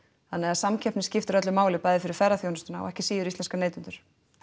þannig að samkeppnin skiptir öllu máli bæði fyrir ferðaþjónustuna og ekki síður íslenska neytendur